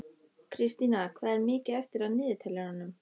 Kristína, hvað er mikið eftir af niðurteljaranum?